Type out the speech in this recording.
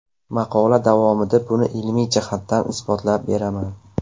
Maqola davomida buni ilmiy jihatdan isbotlab beraman.